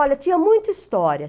Olha, tinha muita história.